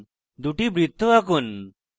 2 টি বৃত্ত আঁকুন